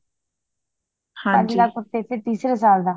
ਪੰਜ ਲੱਖ ਉੱਤੇ ਫੇਰ ਤੀਸਰੇ ਸਾਲ ਦਾ